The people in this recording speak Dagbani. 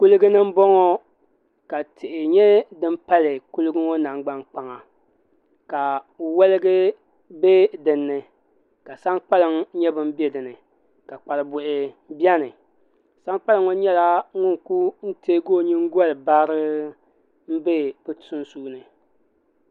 Kuligi ni n bɔŋɔ ka tihi nyɛ dini pali kuligi namgbani kpaŋa ka woliga bɛ dinni ka sankpaliŋ nyɛ bini bɛ dinni ka kparibuhi bɛni sankpaliŋ ŋɔ nyɛla ŋuni kuli tɛɛgi o yiŋgoli barrr mbɛ ni sunsuni.